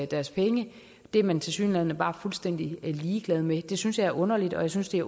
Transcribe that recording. deres penge det er man tilsyneladende bare fuldstændig ligeglad med det synes jeg er underligt og jeg synes det